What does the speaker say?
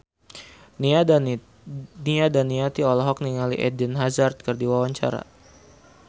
Nia Daniati olohok ningali Eden Hazard keur diwawancara